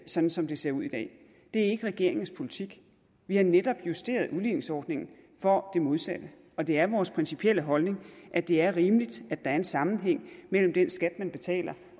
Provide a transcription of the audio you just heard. sådan som det ser ud i dag det er ikke regeringens politik vi har netop justeret udligningsordningen for det modsatte og det er vores principielle holdning at det er rimeligt at der er en sammenhæng mellem den skat man betaler